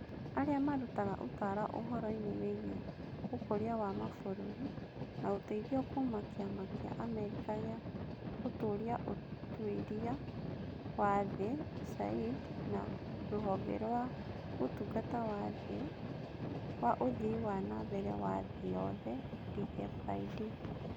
Arĩa Marutaga Ũtaaro Ũhoro-inĩ Wĩgiĩ Ũkũria wa Mabũrũri, na ũteithio kuuma Kĩama kĩa Amerika gĩa Gũtũũria Ũtuĩria wa Thĩ (USAID) na Rũhonge rwa Ũtungata wa ũthii wa na mbere wa thĩ yothe (DFID).